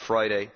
last Friday.